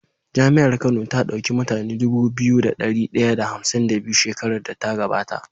jami'ar kano ta dauki mutune Dubu biyu da dari daya da hamsin da biyu shekarar da ta gaba ta